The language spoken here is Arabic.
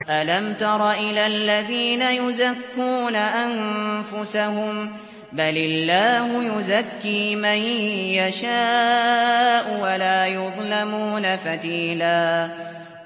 أَلَمْ تَرَ إِلَى الَّذِينَ يُزَكُّونَ أَنفُسَهُم ۚ بَلِ اللَّهُ يُزَكِّي مَن يَشَاءُ وَلَا يُظْلَمُونَ فَتِيلًا